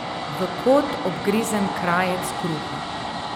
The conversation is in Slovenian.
V kot obgrizen krajec kruha.